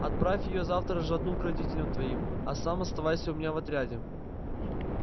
отправь её завтра ж одну к родителям твоим а сам оставайся у меня в отряде